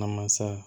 Na masa